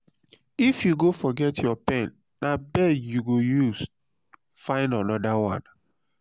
if you go forget your pen na beg you go use fyn another one.